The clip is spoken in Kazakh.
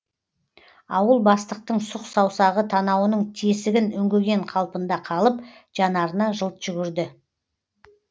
ауыл бастықтың сұқ саусағы танауының тесігін үңгіген қалпында қалып жанарына жылт жүгірді